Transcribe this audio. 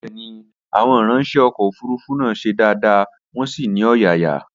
Bẹ́ẹ̀ni, Àwọn ìranṣẹ́ ọkọ̀ òfurufú náà ṣe dáadáa, wọn sì ní ọ̀yàyà